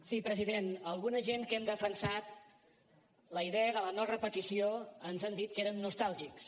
sí president a alguna gent que hem defensat la idea de la no repetició ens han dit que érem nostàlgics